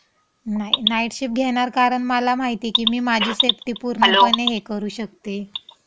नाही. Night shift घेणार कारण मला माहिती की मी माझी सेफ्टी पूर्णपणे हे करू शकते. हेलो.